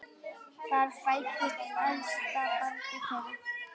Þar fæddist elsta barn þeirra.